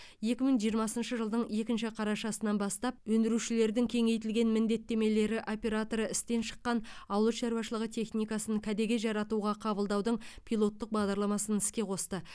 екі мың жиырмасыншы жылдың екінші қарашасынан бастап өндірушілердің кеңейтілген міндеттемелері операторы істен шыққан ауыл шаруашылығы техникасын кәдеге жаратуға қабылдаудың пилоттық бағдарламасын іске қосты